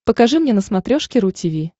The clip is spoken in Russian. покажи мне на смотрешке ру ти ви